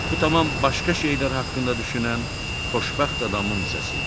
Bu tamam başqa şeylər haqqında düşünən xoşbəxt adamın səsi idi.